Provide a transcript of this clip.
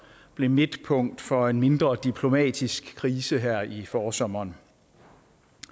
blev midtpunkt for en mindre diplomatisk krise her i forsommeren